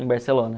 Em Barcelona.